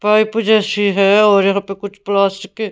pipe जैसी है और यहां पे कुछ प्लास्टिक के--